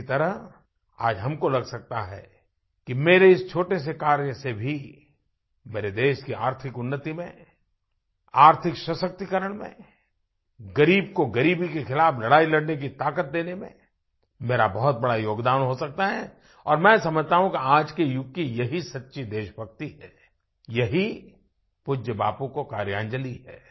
इसी तरह आज हम को लग सकता है कि मेरे इस छोटे से कार्य से भी मेरे देश की आर्थिक उन्नति में आर्थिक सशक्तिकरण में ग़रीब को ग़रीबी के खिलाफ़ लड़ाई लड़ने की ताक़त देने में मेरा बहुत बड़ा योगदान हो सकता है और मैं समझता हूँ कि आज के युग की यही सच्ची देशभक्ति है यही पूज्य बापू को कार्यांजलि है